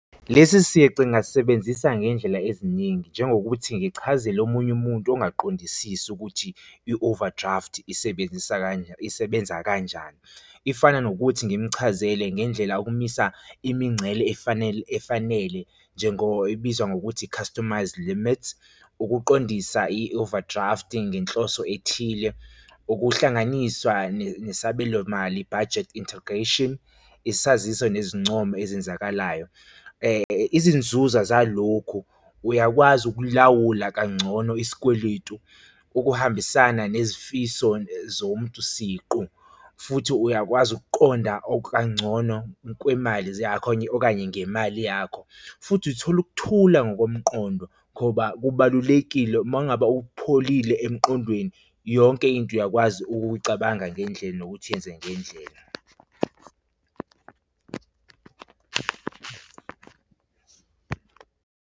Lesi sici ngingasebenzisa ngendlela eziningi njengokuthi ngichazele omunye umuntu ongakuqondisisi ukuthi i-overdraft isebenzisa kanjani, isebenza kanjani. Ifana nokuthi ngimuchazele ngendlela ukumisa imingcele efanele, efanele, njengo ibizwa ngokuthi i-customised limits ukuqondisa i-overdraft ngenhloso ethile, ukuhlanganiswa nesabelomali, budget integration, isaziso nezincomo ezenzakalayo. Izinzuza zalokhu uyakwazi ukulawula kangcono isikweletu ukuhambisana nezifiso zomuntu siqu, futhi uyakwazi ukuqonda okangcono kwemali zakho okanye ngemali yakho. Futhi uthola ukuthula ngokomqondo ngoba kubalulekile uma ngabe upholile emqondweni yonke into uyakwazi ukuyicabanga ngendlela nokuthi yenze ngendlela.